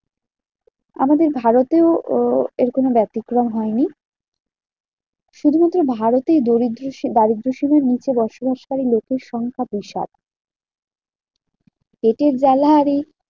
আমাদের ভারতেও উহ এরকম ব্যাতিক্রম হয়নি। শুধুমাত্র ভারতেই দরিদ্র সীমা দারিদ্রসীমার নিচে বসবাসকারী লোকের সংখ্যা বিশাল। পেটের জ্বালা আর এই